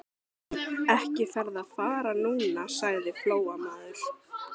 Ekki ferðu að fara núna, sagði Flóamaður.